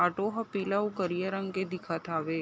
Auto ह पीला उ करिया रंग के दिखत हावे ।